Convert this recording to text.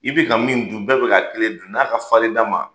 I bɛ ka min dun, bɛɛ bɛ k'a kelen dun n'a ka fari da man